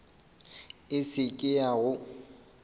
e se ke ya go